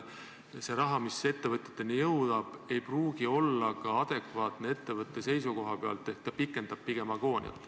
See raha, mis ettevõteteni jõuab, ei pruugi olla adekvaatne ettevõtte seisukohalt, see pigem pikendab agooniat.